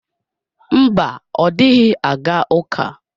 Mba, ọ dịghị aga ụka.